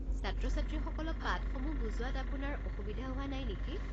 ছাত্ৰ-ছাত্ৰীসকলক পাঠসমূহ বুজোৱাত আপোনাৰ অসুবিধা হোৱা নাই নেকি?